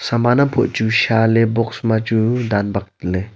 samaan am pu chu shaley ley box ma chu daan baak ley.